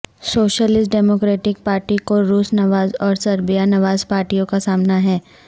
socialist democratic party کو روس نواز اور سربیا نواز پارٹیوں کا سامنا ہے